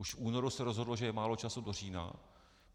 Už v únoru se rozhodlo, že je málo času do října.